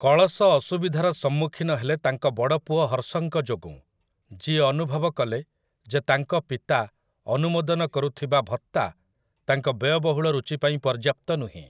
କଳଶ ଅସୁବିଧାର ସମ୍ମୁଖୀନ ହେଲେ ତାଙ୍କ ବଡ଼ପୁଅ ହର୍ସଙ୍କ ଯୋଗୁଁ, ଯିଏ ଅନୁଭବ କଲେ, ଯେ ତାଙ୍କ ପିତା ଅନୁମୋଦନ କରୁଥିବା ଭତ୍ତା ତାଙ୍କ ବ୍ୟୟବହୁଳ ରୁଚି ପାଇଁ ପର୍ଯ୍ୟାପ୍ତ ନୁହେଁ ।